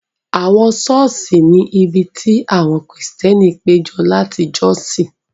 Àwọn ṣọ́ọ̀ṣì ni ibi tí àwọn Kristẹni péjọ láti jọ́sìn.